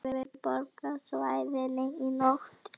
Fjögur innbrot á höfuðborgarsvæðinu í nótt